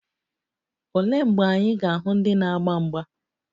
Olee mgbe anyị ga-ahụ ndị na-agba mgba?